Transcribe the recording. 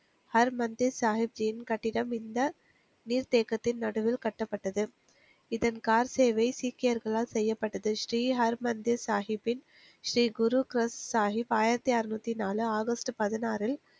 ஹரு மன்தீஸ் சாகிப் ஜியின் கட்டிடம் இந்த நீர்த்தேக்கத்தின் நடுவில் கட்டப்பட்டது இதன் கார் சேவை சீக்கியர்களால் செய்யப்பட்டது ஸ்ரீ ஹர்மன்தீஸ் சாகிப்பின் ஸ்ரீகுரு சாகிப் ஆயிரத்தி அறுநூத்தி நாலு ஆகஸ்ட் பதினாறில்